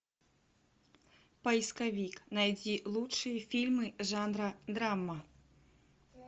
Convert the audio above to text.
поисковик найди лучшие фильмы жанра драма